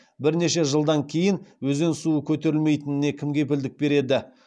бірнеше жылдан кейін өзен суы көтерілмейтініне кім кепілдік береді